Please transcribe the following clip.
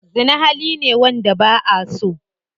Zina hali ne wanda ba'aso.